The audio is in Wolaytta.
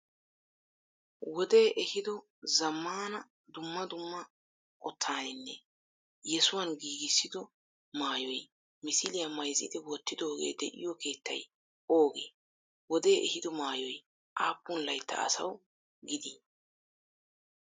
wode ehido zammana dummaa dumma qottaninne yessuwan giggissido maayoy misiliya mayziddi wotidogee de'iyo keettay ooge? wode ehido maayoy appun layttaa asawu giddi?